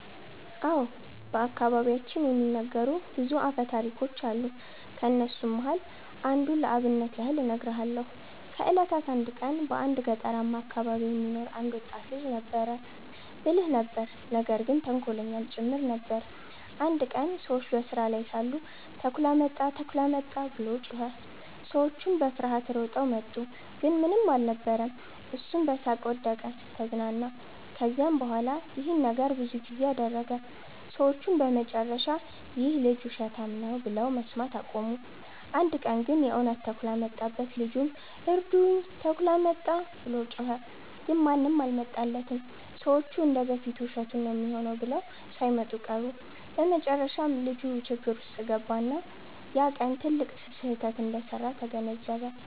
አዎ። በአከባቢያችን የሚነገሩ ብዙ አፈታሪኮች አሉ። ከነሱም መሃል አንዱን ለአብነት ያህል እነግርሃለው። ከ እለታት አንድ ቀን በአንድ ገጠርማ አከባቢ የሚኖር አንድ ወጣት ልጅ ነበረ። ብልህ ነበር ነገር ግን ተንኮለኛም ጭምር ነበር። አንድ ቀን ሰዎች በስራ ላይ ሳሉ “ተኩላ መጣ! ተኩላ መጣ!” ብሎ ጮኸ። ሰዎቹም በፍርሃት ሮጠው መጡ፣ ግን ምንም አልነበረም። እሱም በሳቅ ወደቀ(ተዝናና)። ከዚያ በኋላ ይህን ነገር ብዙ ጊዜ አደረገ። ሰዎቹም በመጨረሻ “ይህ ልጅ ውሸታም ነው” ብለው መስማት አቆሙ። አንድ ቀን ግን የእውነት ተኩላ መጣበት። ልጁም “እርዱኝ! ተኩላ መጣ!” ብሎ ጮኸ። ግን ማንም አልመጣለትም፤ ሰዎቹ እንደ በፊቱ ውሸቱን ነው ሚሆነው ብለው ሳይመጡ ቀሩ። በመጨረሻም ልጁ ችግር ውስጥ ገባ፣ እና ያ ቀን ትልቅ ስህተት እንደሰራ ተገነዘበ።